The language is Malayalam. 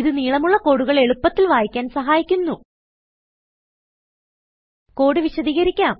ഇത് നീളമുള്ള കോഡുകൾ എളുപ്പത്തിൽ വായിക്കാൻ സഹായിക്കുന്നു കോഡ് വിശദീകരിക്കാം